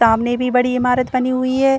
तामने भी बड़ी इमारत बनी हुई है।